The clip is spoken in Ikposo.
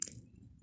t